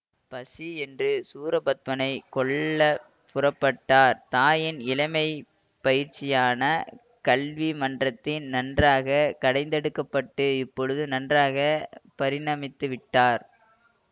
பசி என்று சூரபத்மனைக் கொல்ல புறப்பட்டார் தாயின் இளமை பயிற்சியான கல்வி மன்றத்தில் நன்றாகக் கடைந்தெடுக்கப்பட்டு இப்பொழுது நன்றாக பரிணமித்துவிட்டார்